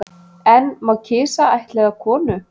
En má kisa ættleiða konu